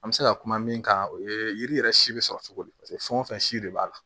An bɛ se ka kuma min kan o ye yiri yɛrɛ si bɛ sɔrɔ cogo di paseke fɛn o fɛn si de b'a la